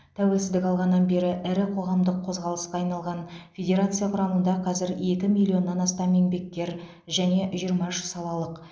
тәуелсіздік алғаннан бері ірі қоғамдық қозғалысқа айналған федерация құрамында қазір екі миллионнан астам еңбеккер және жиырма үш салалық